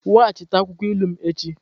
Weghachite akwụkwọ ilu m echi!